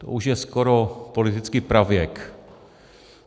To už je skoro politický pravěk.